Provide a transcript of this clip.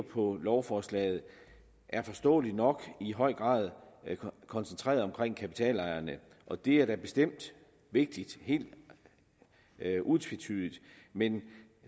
på lovforslaget er forståelig nok i høj grad koncentreret omkring kapitalejerne og det er da bestemt vigtigt helt utvetydigt men